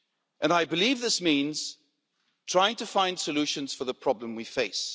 And I believe this means trying to find solutions for the problem we face.